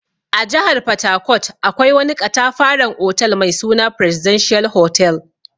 A jihar fatakot akwai wani ƙatafaran otal mai suna "presidential hotel".